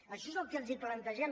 això és el que els plantegem